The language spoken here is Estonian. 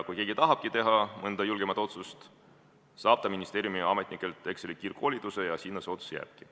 Kui keegi tahabki teha mõnda julgemat otsust, saab ta ministeeriumiametnikelt Exceli kiirkoolituse ja sinna see otsus jääbki.